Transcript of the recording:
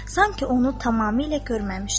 Sanki onu tamamilə görməmişdi.